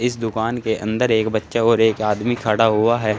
इस दुकान के अंदर एक बच्चा और एक आदमी खड़ा हुआ है।